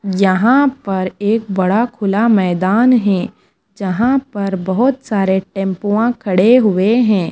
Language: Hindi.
यहां पर एक बड़ा खुला मैदान हें जहां पर बहोत सारे टेम्पुवां खड़े हुए हें।